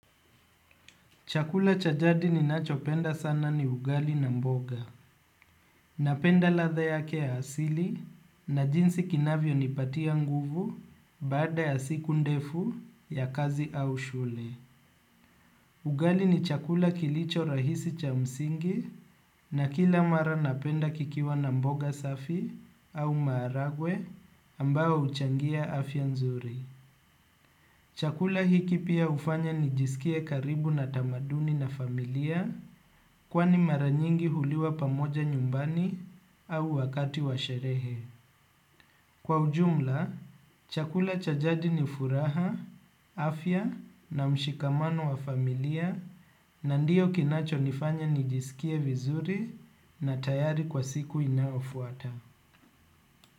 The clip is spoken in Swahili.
Chakula cha jadi ninachopenda sana ni ugali na mboga. Napenda latha yake ya asili na jinsi kinavyo nipatia nguvu baada ya siku ndefu ya kazi au shule. Ugali ni chakula kilicho rahisi cha msingi na kila mara napenda kikiwa na mboga safi au maharagwe ambayo huchangia afya nzuri. Chakula hiki pia hufanya nijisikie karibu na tamaduni na familia kwani mara nyingi huliwa pamoja nyumbani au wakati wa sherehe. Kwa ujumla, chakula cha jadi ni furaha, afya na mshikamano wa familia na ndiyo kinacho nifanya nijisikie vizuri na tayari kwa siku inayofuata.